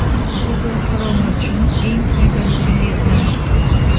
Google Chrome uchun eng foydali kengaytmalar.